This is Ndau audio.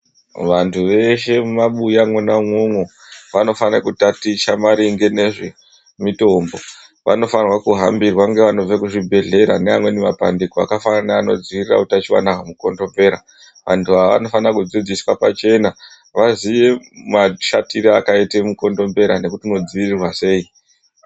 Vantu veshe mumwabuya mwona imwomwo vanofane kutaticha maringe nezvemitombo. Vanofanirwa kuhambirwa ngevanobve kuzvibhehlera neamweni mapandiko akafanana neanodzivirira utachiona hwemukondombera. Vantu ava vanofana kudzidziswa pachena vaziye mashatire akaita mukondombera nekuti unodziirirwa sei.